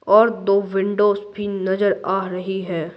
और दो विंडोस भी नजर आ रही है।